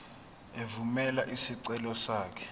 evumela isicelo sakho